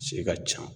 Se ka ca